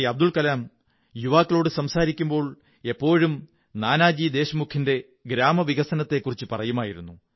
അബ്ദുള്കവലാം യുവാക്കളോടു സംസാരിക്കുമ്പോൾ എപ്പോഴും നാനാജി ദേശ്മുഖിന്റെ ഗ്രാമവികസനകാര്യത്തെക്കുറിച്ചു പറയുമായിരുന്നു